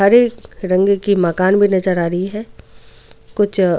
हरे रंग की मकान भी नजर आ रही है कुछ.